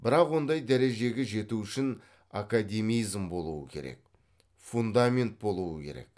бірақ ондай дәрежеге жету үшін академизм болуы керек фундамент болуы керек